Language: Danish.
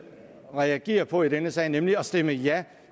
reagere på i denne sag nemlig stemme ja